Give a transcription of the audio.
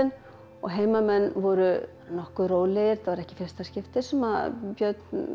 og heimamenn voru nokkuð rólegir þetta var ekki í fyrsta skipti sem björn